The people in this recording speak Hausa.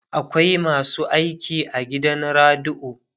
akwai masu aiki a gidan radio